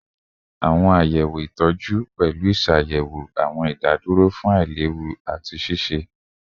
Awọn sọwedowo itọju pẹlu iṣayẹwo awọn idaduro fun ailewu ati ṣiṣe